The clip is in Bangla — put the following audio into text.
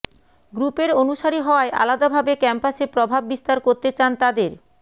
গ্রুপের অনুসারী হওয়ায় আলাদাভাবে ক্যাম্পাসে প্রভাব বিস্তার করতে চান তাদের